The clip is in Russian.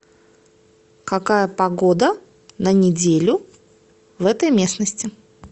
какая погода на неделю в этой местности